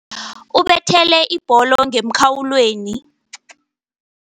Ubethele ibholo ngemkhawulweni.